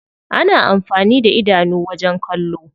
Ana amfani da idanu wajen kallo.